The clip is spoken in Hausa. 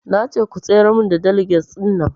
Nace ku tsayar mun da daligas ɗin nan